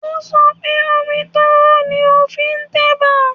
Ó sọ pé, omi tó hó ni a fi ń tẹ̀bà